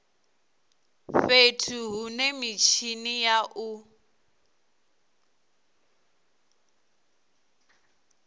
fhethu hune mitshini ya u